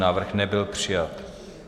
Návrh nebyl přijat.